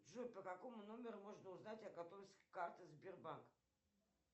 джой по какому номеру можно узнать о готовности карты сбербанк